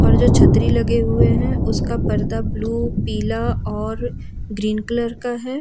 और जो छतरी लगे हुए हैं उसका पर्दा ब्लू पीला और ग्रीन कलर का है।